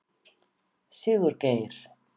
Sigurgeir